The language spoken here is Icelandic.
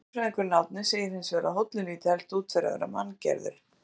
Náttúrufræðingurinn Árni segir hins vegar að hóllinn líti helst út fyrir að vera manngerður.